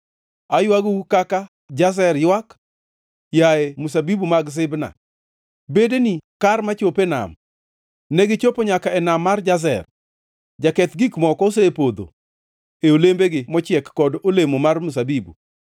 Aywagou, kaka Jazer ywak, yaye mzabibu mag Sibma. Bedeni kar machopo e nam; negichopo nyaka e nam mar Jazer. Jaketh gik moko osepodho e olembegi mochiek kod olemo mar mzabibu.